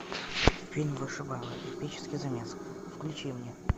фильм вышибала эпический замес включи мне